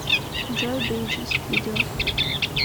джой бриджес видео